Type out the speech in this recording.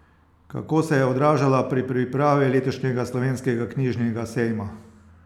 Kako se je odražala pri pripravi letošnjega Slovenskega knjižnega sejma?